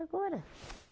Agora.